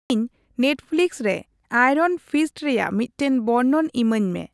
ᱤᱧ ᱱᱮᱴᱯᱷᱞᱤᱠᱥ ᱨᱮ Iron Fist ᱨᱮᱭᱟᱜ ᱢᱤᱫᱴᱟᱝ ᱵᱚᱨᱱᱚᱱ ᱤᱢᱟᱹᱧᱢᱮ